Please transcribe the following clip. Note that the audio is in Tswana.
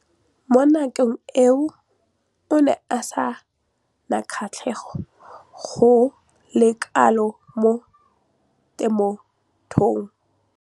Mo nakong eo o ne a sena kgatlhego go le kalo mo temothuong.